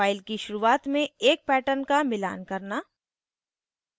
file की शुरुआत में एक pattern का मिलान करना